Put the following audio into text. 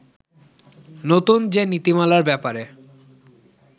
নতুন যে নীতিমালার ব্যাপারে